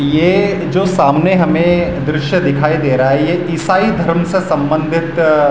यह जो सामने हमें ददृश्य दिखाई रहा है ये ईसाई धर्म से संबंधित --